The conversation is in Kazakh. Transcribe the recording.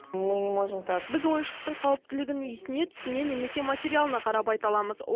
мы не можем так біз ойыншықтың қауіптілігін иісіне түсіне немесе материалына қарап айта аламыз